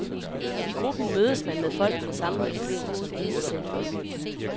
I gruppen mødes man med folk med samme problemer som en selv.